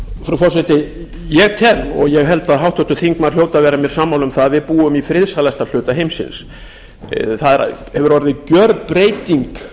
frú forseti ég tel og ég held að háttvirtur þingmaður hljóti að vera mér sammála um það að við búum í friðsælasta hluta heimsins það hefur orðið gjörbreyting